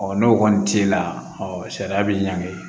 n'o kɔni t'e la sariya bi ɲangi